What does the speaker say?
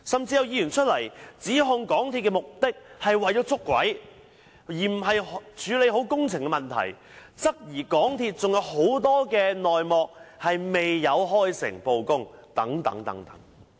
有議員甚至指控港鐵公司是試圖"捉鬼"，而不是處理好工程問題，質疑港鐵公司還有很多內幕未有開誠布公等。